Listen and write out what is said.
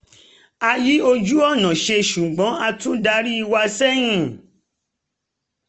a yí ojú-ọ̀nà ṣe ṣùgbọ́n a tún darí wa sẹ́yìn